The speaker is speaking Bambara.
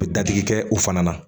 U bɛ dadigi kɛ o fana na